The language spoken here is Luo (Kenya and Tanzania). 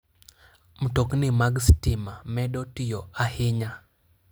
Mtokni mag stima medo tiyo ahinya.